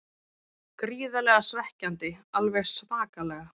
Gríðarlega svekkjandi, alveg svakalega.